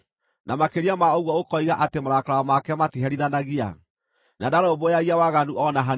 na makĩria ma ũguo ũkoiga atĩ marakara make matiherithanagia na ndarũmbũyagia waganu o na hanini!